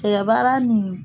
Cɛgɛ baara ni